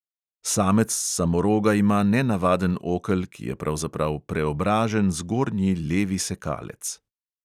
Samec samoroga ima nenavaden okel, ki je pravzaprav preobražen zgornji levi sekalec.